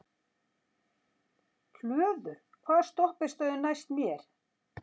Hlöður, hvaða stoppistöð er næst mér?